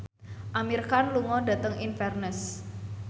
Amir Khan lunga dhateng Inverness